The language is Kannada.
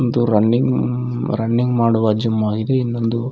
ಇದು ರನ್ನಿಂಗ್ ರನ್ನಿಂಗ್ ಮಾಡುವ ಜಿಮ್ ಆಗಿದೆ ಇಲ್ಲೊಂದು --